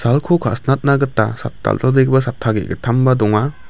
ka·sinatna gita sat-dal·dalbegipa satta ge·gittamba donga.